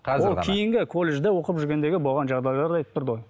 ол кейінгі колледжде оқып жүргендегі болған жағдайларды айтып тұрды ғой